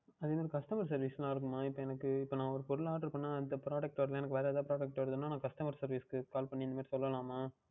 அதேமாதிரி Customer Service எல்லாம் இருக்குமா இப்பொழுது எனக்கு நான் ஓர் பொருள் Oder பண்ணினால் அந்த Product பதில் வேறு எதாவுது வந்தது என்றால் நான் Customer Service க்கு Call பண்ணி இந்த மாதிரி என்று சொல்லலாமா